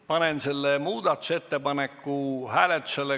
Panen selle muudatusettepaneku hääletusele.